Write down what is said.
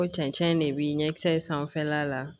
Ko cɛncɛn de bi ɲɛkisɛ in sanfɛla la